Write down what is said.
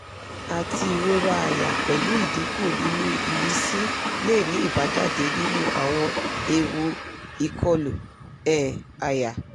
ati irora aya pelu idinku ninu imisi le ni ibajade ninu awon ewu ikolu um aya